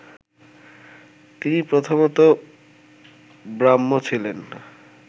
তিনি প্রথমতঃ ব্রাহ্ম ছিলেন